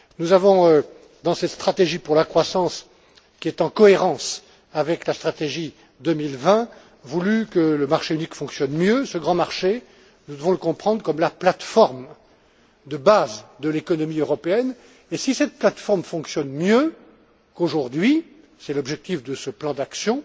Nous avons dans cette stratégie pour la croissance, qui est en cohérence avec la stratégie 2020, voulu que le marché unique fonctionne mieux. Ce grand marché, nous devons le comprendre comme la plate forme de base de l'économie européenne, et si cette plate forme fonctionne mieux qu'aujourd'hui c'est l'objectif de ce plan d'action